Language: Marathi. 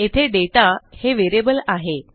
येथे दाता हे व्हेरिएबल आहे